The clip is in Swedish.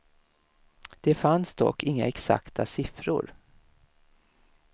Det fanns dock inga exakta siffror.